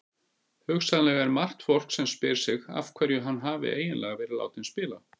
Hugsanlega er margt fólk sem spyr sig af hverju hann hafi eiginlega verið látinn spila?